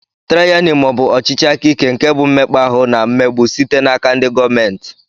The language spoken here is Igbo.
Tyrani maọbu ọchịchị aka ike nke bụ mmekpa ahụ na mmegbu site n'aka ndị gọọmenti.